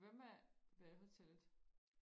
hvad med badehotellet